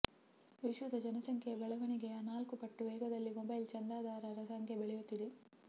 ವಿಶ್ವದ ಜನಸಂಖ್ಯೆಯ ಬೆಳವಣಿಗೆಯ ನಾಲ್ಕು ಪಟ್ಟು ವೇಗದಲ್ಲಿ ಮೊಬೈಲ್ ಚಂದದಾರರ ಸಂಖ್ಯೆ ಬೆಳೆಯುತ್ತಿದೆ